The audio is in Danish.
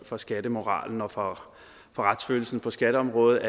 for skattemoralen og for retsfølelsen på skatteområdet